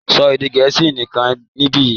so Èdè Gẹ̀ẹ́sì nìkàn nibiyi!